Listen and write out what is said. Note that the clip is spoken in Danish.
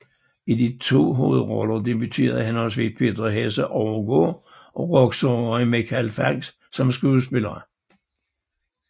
I de to hovedroller debuterede henholdsvis Peter Hesse Overgaard og rocksangeren Michael Falch som skuespillere